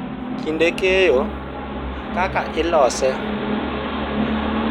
Kinde keyo, kaka ilose,